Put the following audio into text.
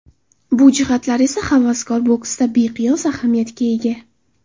Bu jihatlar esa havaskor boksda beqiyos ahamiyatga ega.